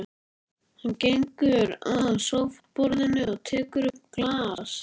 Hann gengur að sófaborðinu og tekur upp glas.